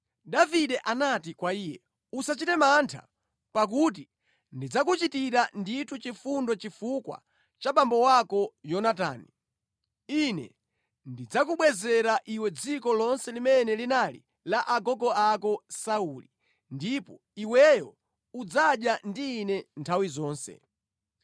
Davide anati kwa iye, “Usachite mantha, pakuti ndidzakuchitira ndithu chifundo chifukwa cha abambo ako Yonatani. Ine ndidzakubwezera iwe dziko lonse limene linali la agogo ako Sauli, ndipo iweyo udzadya ndi ine nthawi zonse.”